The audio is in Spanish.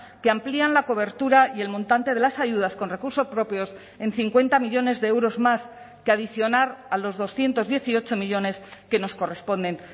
que amplían la cobertura y el montante de las ayudas con recursos propios en cincuenta millónes de euros más que adicionar a los doscientos dieciocho millónes que nos corresponden